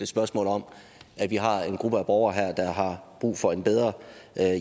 spørgsmål om at vi har en gruppe borgere her der har brug for en bedre